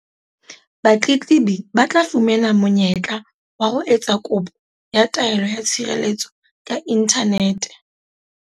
Batletlebi ba tla fumana monye-tla wa ho etsa kopo ya taelo ya tshirelletso ka inthanete.